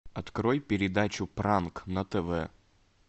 открой передачу пранк на тв